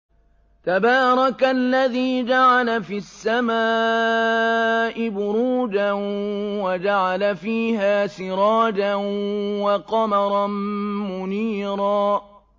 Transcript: تَبَارَكَ الَّذِي جَعَلَ فِي السَّمَاءِ بُرُوجًا وَجَعَلَ فِيهَا سِرَاجًا وَقَمَرًا مُّنِيرًا